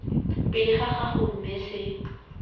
pele ga gago mme se